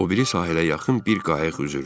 O biri sahilə yaxın bir qayıq üzürdü.